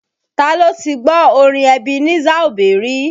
Ta ló ti gbọ́ orin Ebenezer Obey rí?